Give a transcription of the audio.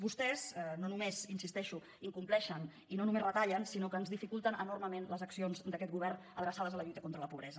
vostès no només hi insisteixo incompleixen i no només retallen sinó que ens dificulten enormement les accions d’aquest govern adreçades a la lluita contra la pobresa